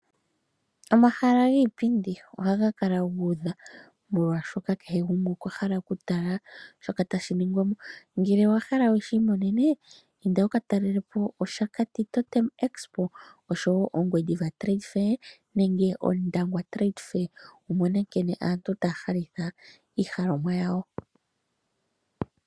Omahala giipindi ohaga kala guudha molwaashoka kehe gumwe okwahala okutala shoka tashi ningwa mo. Ngele owahala wushi imonene inda wuka talelepo Oshakati expo oshowo Ongwediva trade fair nenge Ondangwa trade fair wumone nkene aantu taya halitha iinima yawo.